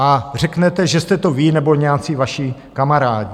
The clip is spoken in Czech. A řeknete, že jste to vy nebo nějací vaši kamarádi.